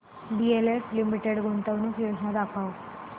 DLF limited गुंतवणूक योजना दाखव